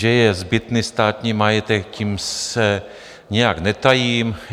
Že je zbytný státní majetek, tím se nijak netajím.